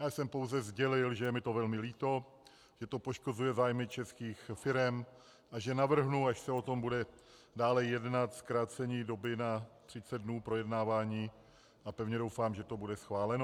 Já jsem pouze sdělil, že je mi to velmi líto, že to poškozuje zájmy českých firem a že navrhnu, až se o tom bude dále jednat, zkrácení doby na 30 dnů projednávání a pevně doufám, že to bude schváleno.